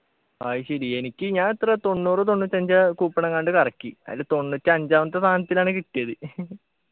അയ്‌ശരി എനിക്ക് ഞാനെത്ര തൊണ്ണൂറു തൊണ്ണൂറ്റഞ്ചാ coupon എങ്ങാണ്ട് കറക്കി അയില് തൊണ്ണൂറ്റഞ്ചാമത്തെ സാധനത്തിനാണ് കിട്ടിയത്